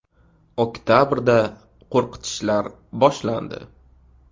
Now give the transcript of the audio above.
Oktabrda qo‘rqitishlar boshlandi.